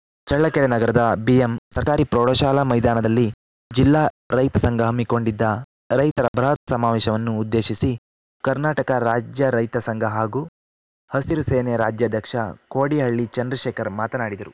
ಚಳ್ಳಕೆರೆ ನಗರದ ಬಿಎಂ ಸರ್ಕಾರಿ ಪ್ರೌಢಶಾಲಾ ಮೈದಾನದಲ್ಲಿ ಜಿಲ್ಲಾ ರೈತ ಸಂಘ ಹಮ್ಮಿಕೊಂಡಿದ್ದ ರೈತರ ಬೃಹತ್‌ ಸಮಾವೇಶವನ್ನು ಉದ್ದೇಶಿಸಿ ಕರ್ನಾಟಕ ರಾಜ್ಯ ರೈತ ಸಂಘ ಹಾಗೂ ಹಸಿರು ಸೇನೆ ರಾಜ್ಯಾಧ್ಯಕ್ಷ ಕೋಡಿಹಳ್ಳಿ ಚಂದ್ರಶೇಖರ್‌ ಮಾತನಾಡಿದರು